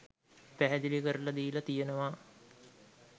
පැහැදිලි කරල දීල තියෙනවා